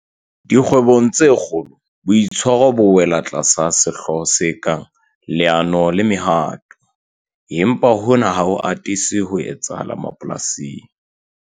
Dikgwebong tse kgolo boitshwaro bo wela tlasa sehlooho se kang 'Leano le Mehato' empa hona ha ho atise ho etsahala mapolasing.